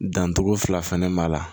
Dancogo fila fɛnɛ b'a la